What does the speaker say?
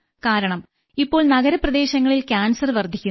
കാരണം ഇപ്പോൾ നഗരപ്രദേശങ്ങളിൽ ക്യാൻസർ വർദ്ധിക്കുന്നു